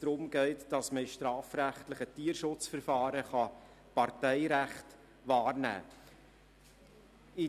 um in strafrechtlichen Tierschutzverfahren das Parteirecht wahrnehmen zu können.